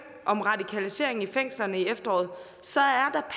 om radikalisering i fængslerne i efteråret